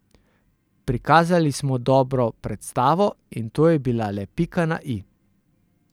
Prikazali smo dobro predstavo in to je bila le pika na i.